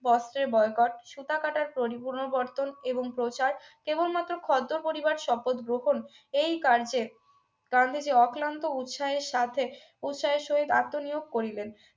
বস্ত্রের boycott সুতা কাটার পরিপূনরাবর্তন এবং প্রচার কেবলমাত্র খর্দ পরিবার শপথ গ্রহণ এই কার্যে গান্ধীজি অক্লান্ত উৎসাহের কার্য্যে উৎসাহের সহিত আত্মনিয়োগ করিলেন